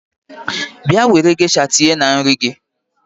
Bịa were gesha tinye na nri gị!